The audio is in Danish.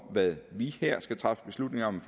hvad vi her i folketinget skal træffe beslutning om